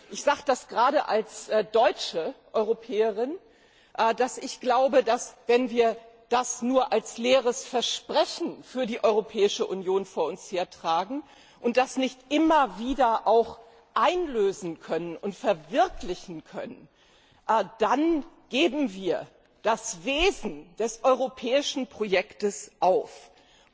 Ich sage gerade als deutsche Europäerin, dass ich glaube, dass wir, wenn wir das nur als leeres Versprechen für die Europäische Union vor uns hertragen und das nicht immer wieder auch einlösen und verwirklichen können, das Wesen des europäischen Projekts aufgeben.